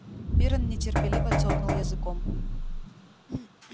пиренн нетерпеливо цокнул языком